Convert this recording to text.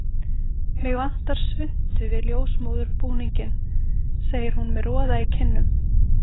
Mig vantar svuntu við ljósmóðurbúninginn, segir hún með roða í kinnum.